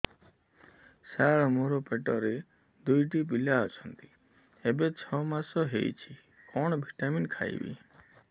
ସାର ମୋର ପେଟରେ ଦୁଇଟି ପିଲା ଅଛନ୍ତି ଏବେ ଛଅ ମାସ ହେଇଛି କଣ ଭିଟାମିନ ଖାଇବି